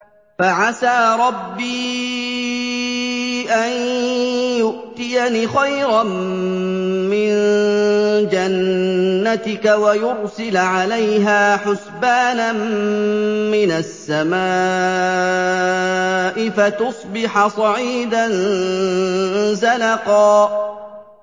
فَعَسَىٰ رَبِّي أَن يُؤْتِيَنِ خَيْرًا مِّن جَنَّتِكَ وَيُرْسِلَ عَلَيْهَا حُسْبَانًا مِّنَ السَّمَاءِ فَتُصْبِحَ صَعِيدًا زَلَقًا